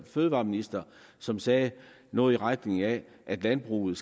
fødevareminister som sagde noget i retningen af at landbruget